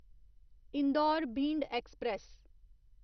Indore Bhind express